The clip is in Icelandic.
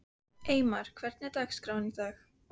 Eymar, hvernig er dagskráin í dag?